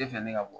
fɛ ne ka bɔ